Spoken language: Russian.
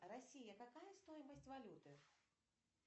россия какая стоимость валюты